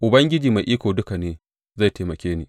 Ubangiji Mai Iko Duka ne zai taimake ni.